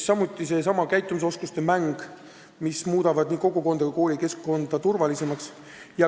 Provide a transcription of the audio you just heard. Samuti käitumisoskuste mäng, mis muudab nii kogukonda kui koolikeskkonda turvalisemaks.